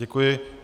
Děkuji.